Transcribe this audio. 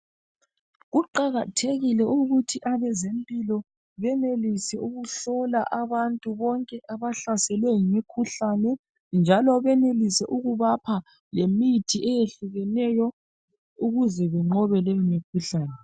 Kuqakathekile ukuthi abezempilo benelise ukuhlola abantu bonke abahlaselwe yimikhuhlane njalo benelise ukubapha lemithi eyehlukeneyo ukuze benqobe lemikhuhlane.